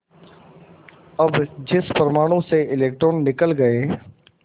अब जिस परमाणु से इलेक्ट्रॉन निकल गए